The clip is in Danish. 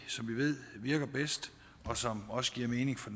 ved virker bedst og som også giver mening for